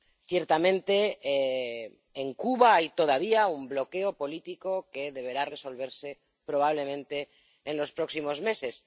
Ciertamente, en Cuba hay todavía un bloqueo político que deberá resolverse, probablemente en los próximos meses.